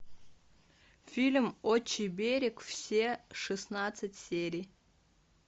фильм отчий берег все шестнадцать серий